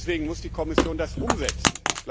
Deswegen muss die Kommission das umsetzen.